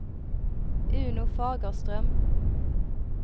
Uno Fagerström